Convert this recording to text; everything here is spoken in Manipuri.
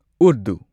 ꯎꯔꯗꯨ